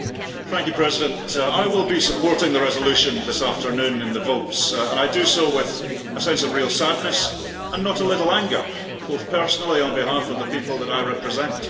Madam President, I will be supporting the resolution this afternoon in the votes, and I do so with a sense of real sadness and more than a little anger, both personally and on behalf of the people that I represent.